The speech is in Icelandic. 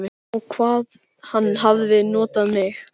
Og hvað hann hafði notað mig.